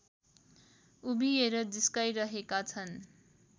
उभिएर जिस्काइरहेका छन्